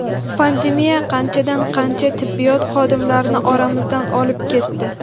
Pandemiya qanchadan-qancha tibbiyot xodimlarini oramizdan olib ketdi.